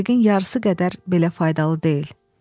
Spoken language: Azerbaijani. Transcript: Məntiqin yarısı qədər belə faydalı deyil.